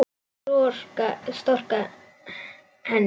Storka henni.